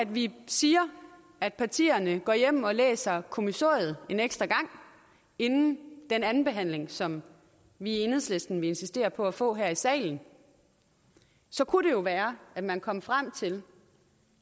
vi siger at partierne går hjem og læser kommissoriet en ekstra gang inden den andenbehandling som vi i enhedslisten vil insistere på at få her i salen så kunne det jo være at man kom frem til